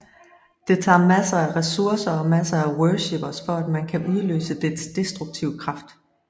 Det tager masser af ressourcer og masser af worshippers for at man kan udløse dets destruktive kraft